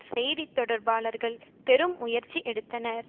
செய்தி தொடர்பாளர்கள் பெரு முயற்சி எடுத்தனர்